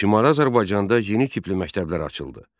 Şimali Azərbaycanda yeni tipli məktəblər açıldı.